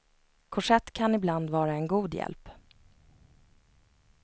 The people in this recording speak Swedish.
Korsett kan ibland vara en god hjälp.